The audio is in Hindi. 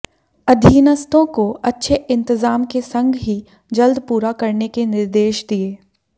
अधीनस्थों को अच्छे इंतजाम के संग ही जल्द पूरा करने के निर्देश दिए